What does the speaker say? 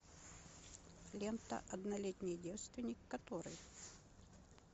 лента однолетний девственник который